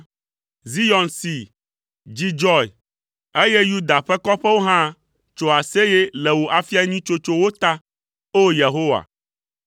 Zion see, dzi dzɔe, eye Yuda ƒe kɔƒewo hã tso aseye le wò afia nyui tsotsowo ta, o Yehowa.